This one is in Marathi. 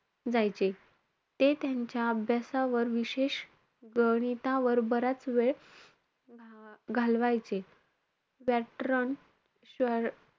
जायचे. ते त्यांच्या अभ्यासावर विशेष गणितावर बराच वेळ घा~ घालवायचे. व्याकरण,